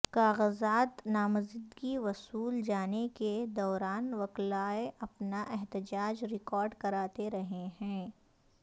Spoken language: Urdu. کاغذات نامزدگی وصول جانے کے دوران وکلاء اپنا احتجاج ریکارڈ کراتے رہے ہیں